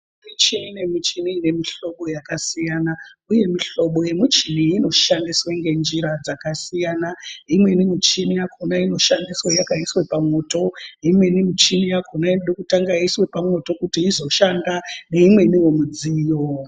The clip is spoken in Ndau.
Michini nemichini ine mihlobo yakasiyana, uye muhlobo yemuchini inoshandiswe ngenjira dzakasiyana. Imweni michini yakhona inoshandiswa yakaiswa pamwoto, imweni michini yakhona inode kutanga yaiswa pamwoto kuti izoshanda, neimweniwo midziyo.